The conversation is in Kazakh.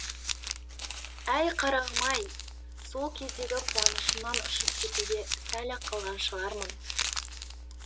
әй қарағым ай сол кездегі қуанышымнан ұшып кетуге сәл ақ қалған шығармын